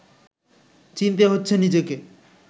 চিনতে হচ্ছে নিজেকে